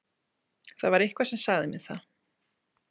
Það var eitthvað sem sagði mér það.